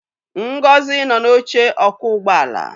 Ngozi nọ n'oche ọkwọ ụgbọ ala